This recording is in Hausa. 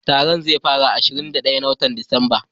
Taron zai fara ranan ashirin da daya na wotan Disamba.